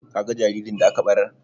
Ka ga jaririn da aka ɓarar?